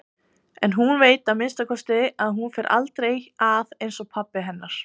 En hún veit að minnsta kosti að hún fer aldrei að einsog pabbi hennar.